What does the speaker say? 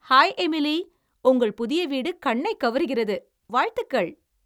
Hi Emily, உங்கள் புதிய வீடு கண்ணைக் கவருகிறது, வாழ்த்துகள்!